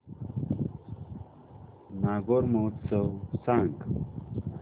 नागौर महोत्सव सांग